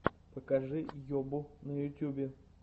покажи йобу на ютюбе